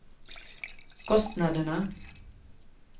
kostnaderna